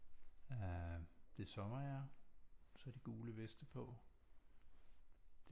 Øh det er sommer ja så har de gule veste på